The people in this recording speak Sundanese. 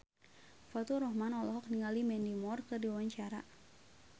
Faturrahman olohok ningali Mandy Moore keur diwawancara